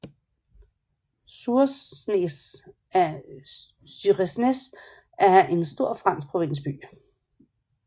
Suresnes er en stor fransk provinsby